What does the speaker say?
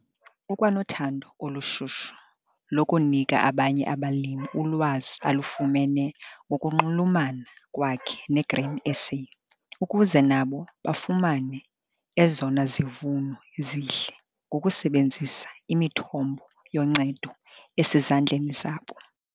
Ukwanothando olushushu lokunika abanye abalimi ulwazi alufumene ngokunxulumana kwakhe neGrain SA ukuze nabo bafumane ezona zivuno zihle ngokusebenzisa imithombo yoncedo esezandleni zabo.